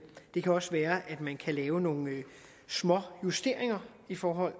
det kan også være at man kan lave nogle småjusteringer i forhold